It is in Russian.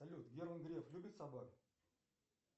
салют герман греф любит собак